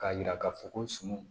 K'a jira k'a fɔ ko sun